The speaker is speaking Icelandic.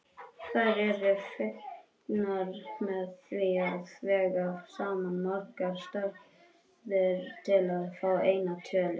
Þær eru fengnar með því að vega saman margar stærðir til að fá eina tölu.